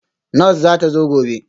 Nurse zata zo gobe